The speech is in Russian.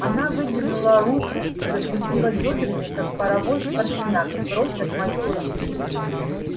она выдернула руку и закрутила бёдрами как паровоз поршнями прочь от майора